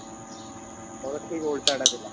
ମୋର ଠିକ ଓଲଟାଟା ଥିଲା